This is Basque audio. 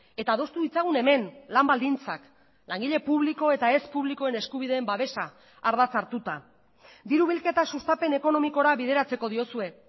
eta adostu ditzagun hemen lan baldintzak langile publiko eta ez publikoen eskubideen babesa ardatz hartuta diru bilketa sustapen ekonomikora bideratzeko diozue